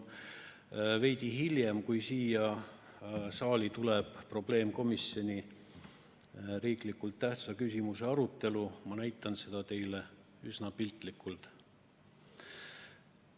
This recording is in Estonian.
Veidi hiljem, kui siin saalis tuleb probleemkomisjoni riiklikult tähtsa küsimuse arutelu, ma näitan seda teile üsna piltlikult.